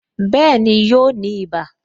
Bẹẹni, yóò ní ibà